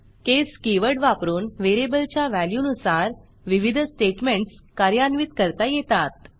केस key word वापरून व्हेरिएबलच्या व्हॅल्यूनुसार विविध स्टेटमेंट्स कार्यान्वित करता येतात